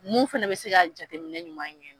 Mun fɛnɛ bɛ se ka jateminɛ ɲuman kɛ.